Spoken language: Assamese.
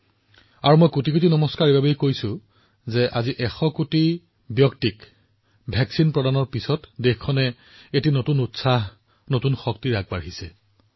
আৰু মই কোটিকোটি নমস্কাৰো জনাইছো কাৰণ ১০০ কোটিৰ প্ৰতিষেধক পালিৰ পিছত আজি দেশখনে নতুন উৎসাহ নতুন শক্তিৰে আগবাঢ়িছে